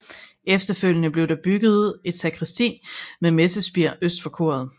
Efterfølgende blev der bygget et sakristi med messespir øst for koret